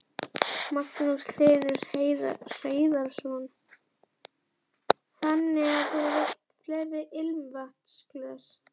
Magnús Hlynur Hreiðarsson: Þannig að þú vilt fleiri ilmvatnsglös?